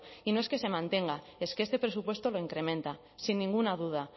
y no es que se mantenga es que este presupuesto lo incrementa sin ninguna duda